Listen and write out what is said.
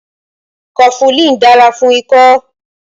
Kofulin dára fún ikọ́